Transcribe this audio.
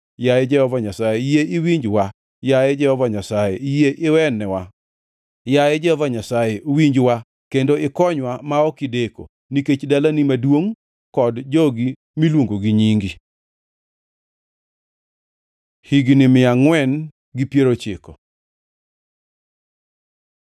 Yaye Jehova Nyasaye, yie iwinjwa! Yaye Jehova Nyasaye, yie iwenwa! Yaye Jehova Nyasaye, winjwa kendo ikonywa ma ok ideko, nikech dalani maduongʼ kod jogi miluongo gi nyingi.” Higni mia angʼwen gi piero ochiko